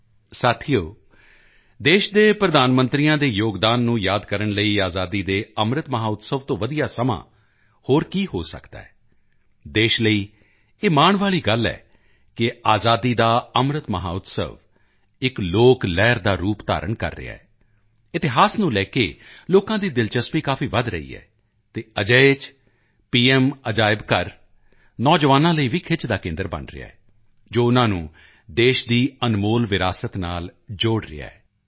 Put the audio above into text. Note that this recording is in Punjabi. ਦੋਸਤੋ ਦੇਸ਼ ਦੇ ਪ੍ਰਧਾਨ ਮੰਤਰੀਆਂ ਦੇ ਯੋਗਦਾਨ ਨੂੰ ਯਾਦ ਕਰਨ ਲਈ ਆਜ਼ਾਦੀ ਕੇ ਅੰਮ੍ਰਿਤ ਮਹੋਤਸਵ ਤੋਂ ਵਧੀਆ ਸਮਾਂ ਹੋਰ ਕੀ ਹੋ ਸਕਦਾ ਹੈ ਦੇਸ਼ ਲਈ ਇਹ ਮਾਣ ਵਾਲੀ ਗੱਲ ਹੈ ਕਿ ਆਜ਼ਾਦੀ ਕਾ ਅੰਮ੍ਰਿਤ ਮਹੋਤਸਵ ਇੱਕ ਲੋਕ ਲਹਿਰ ਦਾ ਰੂਪ ਧਾਰਨ ਕਰ ਰਿਹਾ ਹੈ ਇਤਿਹਾਸ ਨੂੰ ਲੈ ਕੇ ਲੋਕਾਂ ਦੀ ਦਿਲਚਸਪੀ ਕਾਫੀ ਵਧ ਰਹੀ ਹੈ ਅਤੇ ਅਜਿਹੇ ਚ ਪ੍ਰਧਾਨ ਮੰਤਰੀ ਸੰਗ੍ਰਹਾਲਯ ਨੌਜਵਾਨਾਂ ਲਈ ਵੀ ਖਿੱਚ ਦਾ ਕੇਂਦਰ ਬਣ ਰਿਹਾ ਹੈ ਜੋ ਉਨ੍ਹਾਂ ਨੂੰ ਦੇਸ਼ ਦੀ ਅਨਮੋਲ ਵਿਰਾਸਤ ਨਾਲ ਜੋੜ ਰਿਹਾ ਹੈ